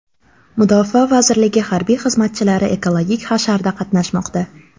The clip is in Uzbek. Mudofaa vazirligi harbiy xizmatchilari ekologik hasharda qatnashmoqda.